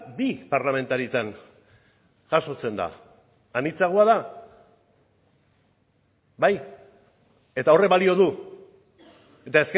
bi parlamentaritan jasotzen da anitzagoa da bai eta horrek balio du eta